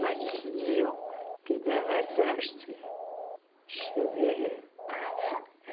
Mas diziam que dava sorte chover. Ah é